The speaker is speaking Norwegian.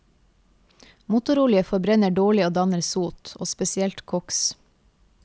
Motorolje forbrenner dårlig og danner sot, og spesielt koks.